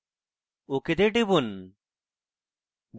ok তে টিপুন